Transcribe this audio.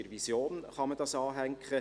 Die Regierung nimmt folgende Haltung ein: